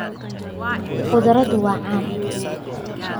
Khudradu waa caan.